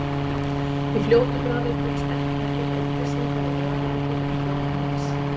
Í fljótu bragði tókst ekki að finna upplýsingar um meðalaldur hjá þjóðum heims.